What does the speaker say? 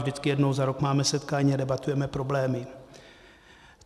Vždycky jednou za rok máme setkání a debatujeme problémy.